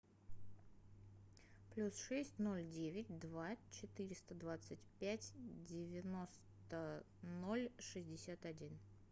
плюс шесть ноль девять два четыреста двадцать пять девяносто ноль шестьдесят один